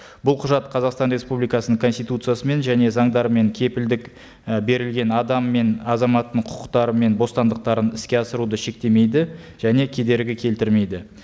бұл құжат қазақстан республикасының конституциясымен және заңдарымен кепілдік і берілген адам мен азаматтың құқықтары мен бостандықтарын іске асыруды шектемейді және кедергі келтірмейді